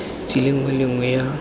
tseleng nngwe le nngwe ya